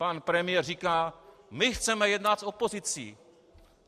Pan premiér říká: My chceme jednat s opozicí.